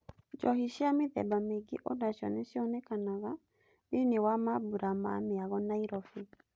Njohi cia mĩthemba mĩingĩ onacio nicionekanaga thĩiniĩ wa mambũra ma mĩago Nairobi.